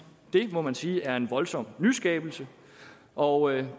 det må man sige er en voldsom nyskabelse og